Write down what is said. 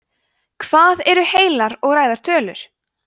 hvað eru heilar og ræðar tölur